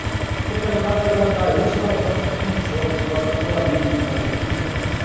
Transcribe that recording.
Então, tratar de adaptar isso às nossas condições, aos nossos regulamentos, aos nossos movimentos, né?